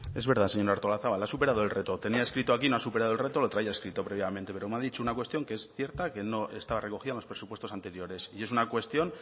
es verdad señora artolazabal ha superado el reto tenía escrito aquí no ha superado el reto lo traía escrito previamente pero me ha dicho una cuestión que es cierta que no estaba recogida en los presupuestos anteriores y es una cuestión